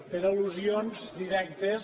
per al·lusions directes